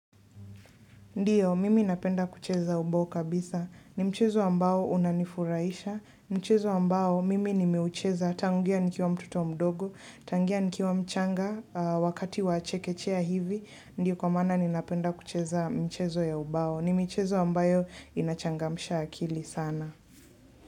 Ndiyo, mimi napenda kucheza ubao kabisa, ni mchezo ambao unanifuraisha, mchezo ambao mimi nimeucheza tanguia nikiwa mtoto mdogo, tangia nikiwa mchanga wakati wa chekechea hivi, ndiyo kwa maana ninapenda kucheza mchezo ya ubao, ni mchezo ambayo inachangamsha akili sana.